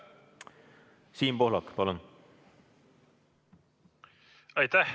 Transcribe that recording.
Siim Pohlak, palun!